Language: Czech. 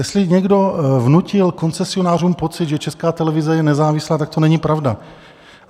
Jestli někdo vnutil koncesionářům pocit, že Česká televize je nezávislá, tak to není pravda.